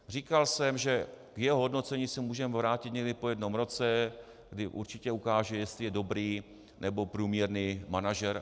Říkal jsem, že k jeho hodnocení se můžeme vrátit někdy po jednom roce, kdy určitě ukáže, jestli je dobrý, nebo průměrný manažer.